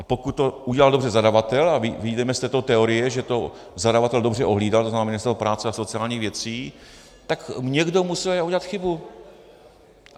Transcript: A pokud to udělal dobře zadavatel a vyjdeme z této teorie, že to zadavatel dobře ohlídal, to znamená Ministerstvo práce a sociálních věcí, tak někdo musel udělat chybu.